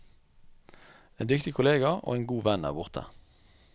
En dyktig kollega og en god venn er borte.